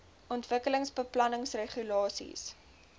ontwikkelingsbeplanningregulasies